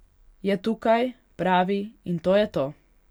Je tukaj, pravi, in to je to.